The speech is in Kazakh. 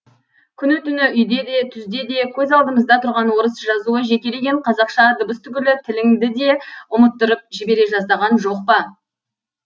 күні түні үйде де түзде де көз алдымызда тұрған орыс жазуы жекелеген қазақша дыбыс түгілі тіліңді де ұмыттырып жібере жаздаған жоқ па